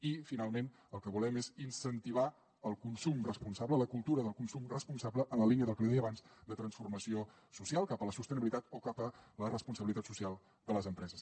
i finalment el que volem és incentivar el consum responsable la cultura del consum responsable en la línia del que li deia abans de transformació social cap a la sostenibilitat o cap a la responsabilitat social de les empreses